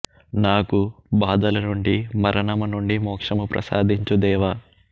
నాకు బాధల నుండి మరణము నుండి మోక్షము ప్రసాదించు దేవా